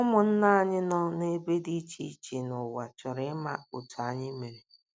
Ụmụnna anyị nọ n’ebe dị iche iche n’ụwa chọrọ ịma otú anyị mere.